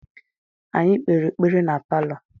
Anyị kpere ekpere na palọ.